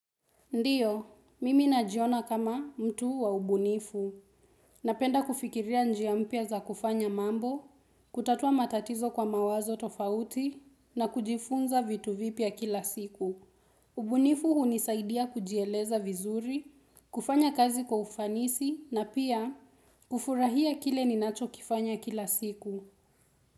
Ndiyo, mimi najiona kama mtu wa ubunifu. Napenda kufikiria njiampia za kufanya mambo, kutatua matatizo kwa mawazo tofauti, na kujifunza vitu vipya kila siku. Ubunifu hunisaidia kujieleza vizuri, kufanya kazi kwa ufanisi, na pia kufurahia kile ninacho kifanya kila siku.